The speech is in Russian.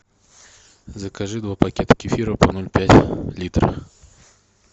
закажи два пакета кефира по ноль пять литра